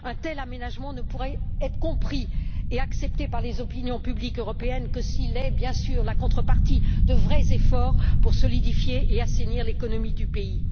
Un tel aménagement ne pourra être compris et accepté par les opinions publiques européennes que s'il est bien sûr la contrepartie de vrais efforts pour solidifier et assainir l'économie du pays.